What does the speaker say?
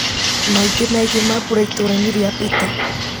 maingĩ megiĩ mambura itũra-inĩ rĩa pete